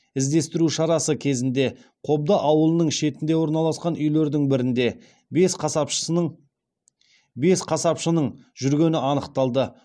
іздестіру шарасы кезінде қобда ауылының шетінде орналасқан үйлердің бірінде бес қасапшының жүргені анықталды